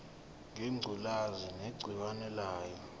ngengculazi negciwane layo